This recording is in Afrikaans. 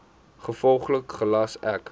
gevolglik gelas ek